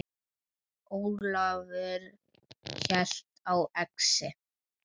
Ólafur hélt á exi.